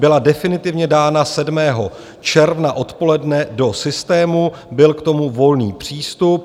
Byla definitivně dána 7. června odpoledne do systému, byl k tomu volný přístup.